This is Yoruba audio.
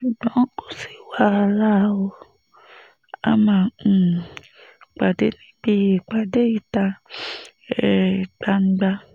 ṣùgbọ́n kò sí wàhálà ó a máa um pàdé níbi ìpàdé ìta um gbangba